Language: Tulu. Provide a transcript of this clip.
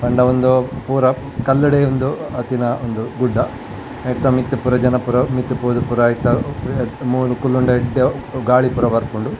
ಪಂಡ ಉಂದು ಪೂರ ಕಲ್ಲ್ ಡೇ ಉಂದು ಆತಿನ ಉಂದು ಗುಡ್ಡ ಐತ ಮಿತ್ತ್ ಪೂರ ಜನ ಪೂರ ಮಿತ್ತ್ ಪೋದು ಪೋರ ಐತ ಮೂಲು ಕುಲ್ಲುಂಡ ಎಡ್ಡೆ ಗಾಳಿ ಪೂರ ಬರ್ಪುಂಡು.